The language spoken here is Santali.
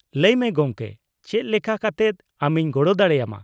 -ᱞᱟᱹᱭᱢᱮ ᱜᱚᱢᱠᱮ, ᱪᱮᱫ ᱞᱮᱠᱟ ᱠᱟᱛᱮᱫ ᱟᱢᱤᱧ ᱜᱚᱲᱚ ᱫᱟᱲᱮᱭᱟᱢᱟ ?